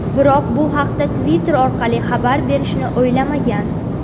Biroq bu haqda Twitter orqali xabar berishni o‘ylamagan.